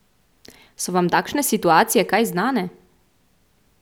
So vam takšne situacije kaj znane?